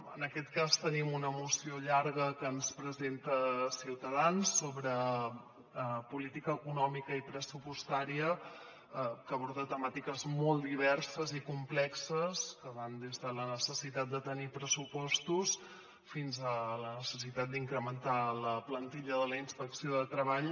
en aquest cas tenim una moció llarga que ens presenta ciutadans sobre política econòmica i pressupostària que aborda temàtiques molt diverses i complexes que van des de la necessitat de tenir pressupostos fins a la necessitat d’incrementar la plantilla de la inspecció de treball